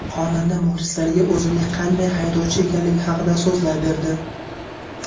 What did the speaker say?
Xonanda muxlislariga o‘zining qanday haydovchi ekanligi haqida so‘zlab berdi.